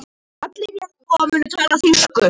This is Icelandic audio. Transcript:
Allir jarðarbúar munu tala þýsku.